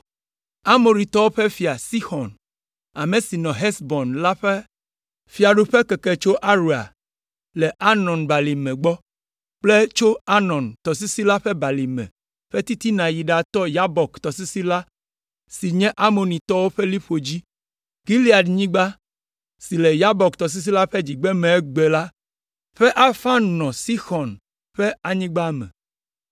Amoritɔwo ƒe fia Sixɔn, ame si nɔ Hesbon la ƒe fiaɖuƒe keke tso Aroer le Arnon balime gbɔ kple tso Arnon tɔsisi la ƒe balime ƒe titina yi ɖatɔ Yabok tɔsisi la si nye Amonitɔwo ƒe liƒo dzi. Gileadnyigba si le Yabok tɔsisi la ƒe dzigbeme egbe la ƒe afã nɔ Sixɔn ƒe anyigba me.